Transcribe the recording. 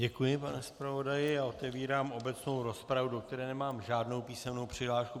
Děkuji, pane zpravodaji a otevírám obecnou rozpravu, do které nemám žádnou písemnou přihlášku.